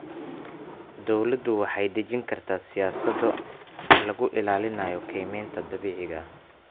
Dawladdu waxay dejin kartaa siyaasado lagu ilaalinayo kaymaha dabiiciga ah.